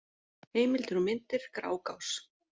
Heimildir og myndir: Grágás.